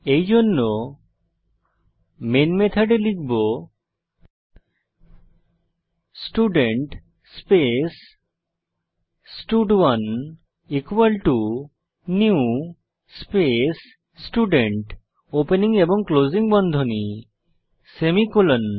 এইজন্য মেন মেথডে লিখব স্টুডেন্ট স্পেস স্টাড1 equal to new space student opening এবং ক্লোসিং বন্ধনী সেমিকোলন